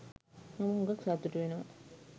මම හුඟක් සතුටු වෙනවා.